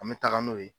An bɛ taga n'o ye